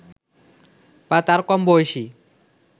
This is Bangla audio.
বা তার কম বয়সী